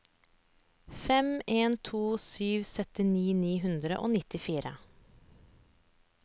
fem en to sju syttini ni hundre og nittifire